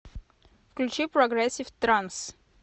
включи прогрессив транс